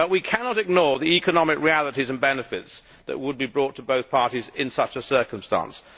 But we cannot ignore the economic realities and benefits that would be brought to both parties in such a circumstance.